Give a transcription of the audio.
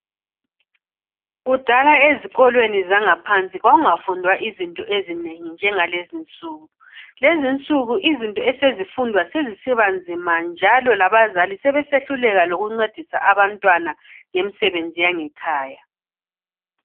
Kudala ezikolweni zangaphansi kwakunga fundwa izinto ezinengi njengalezinsuku, lezinsuku izinto esezifundwa sezisiba nzima njalo labazali sebe sehluleka lokuncedisa abantwana ngemsebenzi yangekhaya.